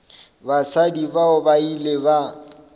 basadi bao ba ile ba